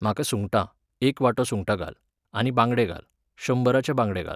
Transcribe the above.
म्हाका सुंगटां, एक वाटो सुंगटां घाल, आनी बांगडे घाल, शंबराचे बांगडे घाल.